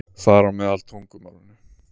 Þar á meðal tungumálinu.